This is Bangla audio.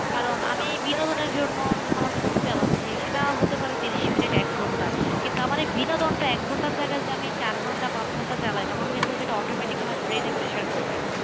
কারণ আমি বিনোদনের জন্য ধরেন আমার phone চালাচ্ছি সেটা হতে পারে ত্রিশ মিনিট এক ঘন্টা কিন্তু আমার এই বিনোদনটা এক ঘন্টার জায়গায় যদি আমি চার ঘন্টা পাঁচ ঘন্টা চালাই তখন কিন্তু সেটা automatic আমার brain এ pressure করবে